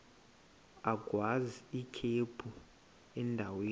agwaz ikhephu endaweni